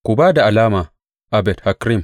Ku ba da alama a Bet Hakkerem!